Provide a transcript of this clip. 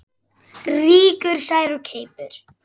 Rýkur sær of keipum.